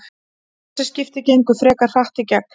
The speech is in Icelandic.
Þessi skipti gengu frekar hratt í gegn.